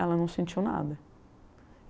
Ela não sentiu nada.